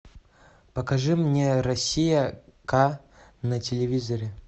покажи мне россия к на телевизоре